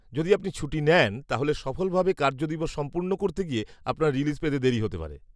যদি আপনি ছুটি নেন তাহলে সফলভাবে কার্যদিবস সম্পূর্ণ করতে গিয়ে আপনার রিলিজ পেতে দেরী হতে পারে।